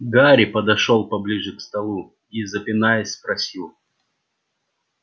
гарри подошёл поближе к столу и запинаясь спросил